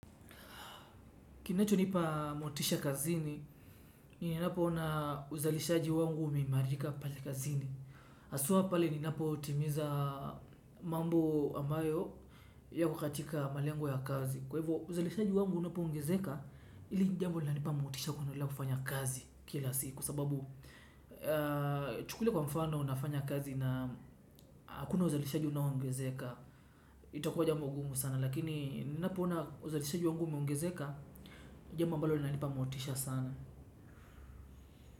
Kinachonipa motisha kazini, ni napo ona uzalishaji wangu umeimarika pale kazini. Haswaa pale ninapo timiza mambo amayo yako katika malengo ya kazi. Kwa hivyo uzalishaji wangu unapoongezeka hili jambo linanipa motisha kuendelea kufanya kazi kila siku kwa sababu chukulia kwa mfano nafanya kazi na hakuna uzalishaji unao ongezeka, itakuwa jambo gumu sana. Lakini ninapo ona uzalishaji wangu umeongezeka ni jambo ambalo linanipa motisha sana.